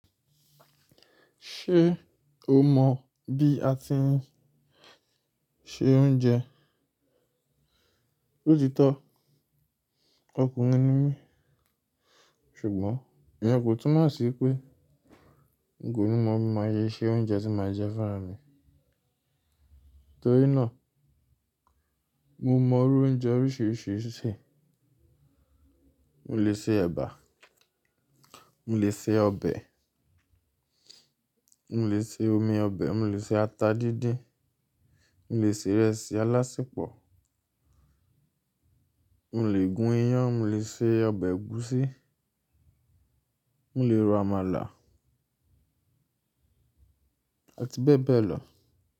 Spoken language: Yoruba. Ṣé o mọ̀ bí a ti ń se oúnjẹ? Loti tó, ọkùnrin ni mí, ṣùgbọ́n íyen kò túmọ̀ sí pé nko ní máa bi ma ṣe ṣe oúnjẹ tí máa jẹ fúnra mi. Nítorí náà, mo mọ oúnjẹ oríṣiríṣi ṣe. Mo lè se ẹ̀bà, mo lè se ọbẹ̀, mo lè se omi ọbẹ̀, mo lè se ata díndín, mo lè se ìrẹsì alásiepọ̀, mo lè gún iyán, mo lè se ọbẹ̀ ẹ̀gúsí, mo lè ro àmàlà, àti bẹ́ẹ̀ bẹ́ẹ̀ lọ.